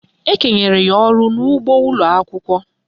Ekenyere ya ọrụ n'ụgbọ ụlọakwụkwọ